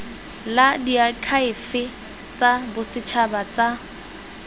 la diakhaefe tsa bosetšhaba tsa